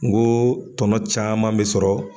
N ko tɔnɔ caman bi sɔrɔ